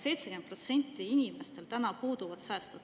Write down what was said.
70%‑l inimestel täna puuduvad säästud.